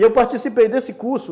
E eu participei desse curso,